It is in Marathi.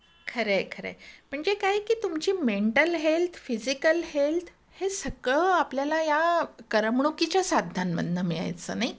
खरंय खरंय, म्हणजे काय आहे कि तुमची मेंटल हेल्थ फिजिकल हेल्थ हे सगळं आपल्याला या करमणुकीच्या साधनांमधनं मिळायचं नाही का?